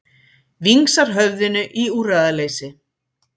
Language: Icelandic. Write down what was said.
Vingsar höfðinu í úrræðaleysi.